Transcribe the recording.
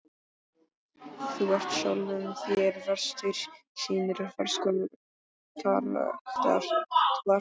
Þú ert sjálfum þér verstur. sýnir hverskonar karakter þú ert.